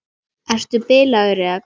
Ertu bilaður eða hvað?